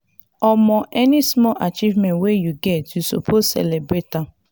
omo any small achievement wey you get you suppose celebrate am.